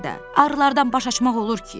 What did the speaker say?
Arılardan baş açmaq olur ki?